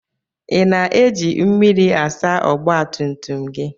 I na-eji mmiri asa ọgba tum tum gị?